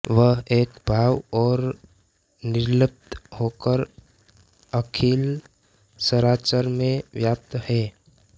वह एक भाव और निर्लिप्त होकर अखिल चराचर में व्याप्त है